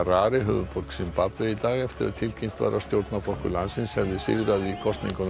í dag eftir að tilkynnt var að stjórnarflokkur landsins hefði sigrað í kosningunum þar í fyrradag